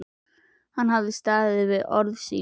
Hann hafði staðið við orð sín.